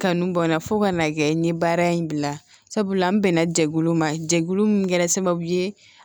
Kanu bɔra fo ka n'a kɛ n ye baara in bila sabula n bɛnna jɛkulu ma jɛkulu min kɛra sababu ye